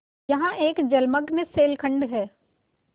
यहाँ एक जलमग्न शैलखंड है